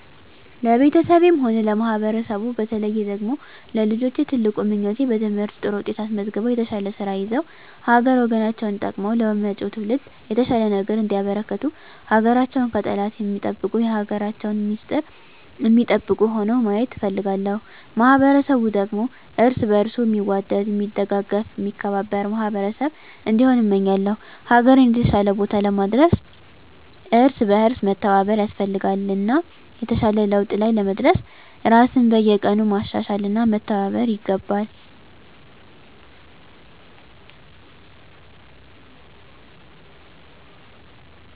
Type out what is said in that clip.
ለቤተሰቤም ሆነ ለማህበረሰቡ በተለየ ደግሞ ለልጆቼ ትልቁ ምኞቴ በትምህርት ጥሩ ውጤት አስመዝግበው የተሻለ ስራ ይዘው ሀገር ወገናቸውን ጠቅመው ለመጭው ትውልድ የተሻለ ነገር እንዲያበረክቱ ሀገራቸውን ከጠላት ሚጠብቁ የሀገራቸውን ሚስጥር ሚጠብቁ ሁነው ማየት እፈልጋለሁ። ማህበረሰቡ ደግሞ እርስ በእርሱ ሚዋደድ ሚደጋገፍ ሚከባበር ማህበረሰብ እንዲሆን እመኛለው። ሀገርን የተሻለ ቦታ ለማድረስ እርስ በእርስ መተባበር ያስፈልጋል እና የተሻለ ለውጥ ላይ ለመድረስ ራስን በየቀኑ ማሻሻል እና መተባበር ይገባል።